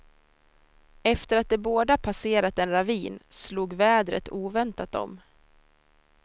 Efter att de båda passerat en ravin, slog vädret oväntat om.